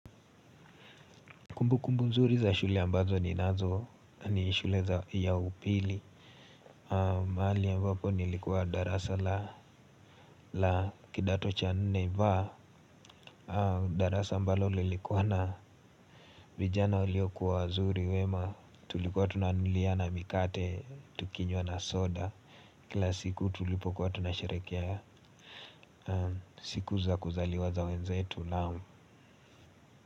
Kumbukumbu nzuri za shule ambazo ni nazo ni shule ya upili. Mahali ambapo nilikuwa darasa la kidato cha nne vaa. Darasa ambalo lilikuwa na vijana waliokua wazuri wema. Tulikuwa tunanunuliana mikate tukinywa na soda. Kila siku tulipo kwa tunashirekia siku za kuzaliwaza wenzetu nao.